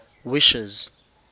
wishes